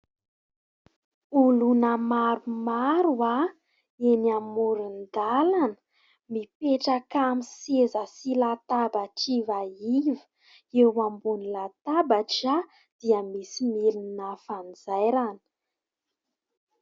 Olona maromaro eny amoron-dalana, mipetraka amin'ny seza sy latabatra ivaiva. Eo ambony latabatra dia misy milina fanjairana.